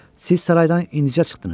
Siz saraydan indicə çıxdınız.